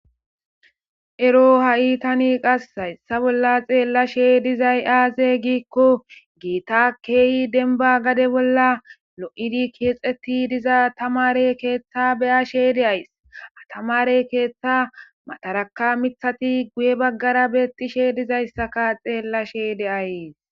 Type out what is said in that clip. Ero ha'i tani qas hayssa bolla xeellashshe dizay aaze giikko giita keeyi denba gade bolla lo'idi keexeti diza tamare keeththa beyashshe de'ays ha tamare keeththa mataraka miththi guye baggara beetishshe dizayssaka xeellashshe de'ays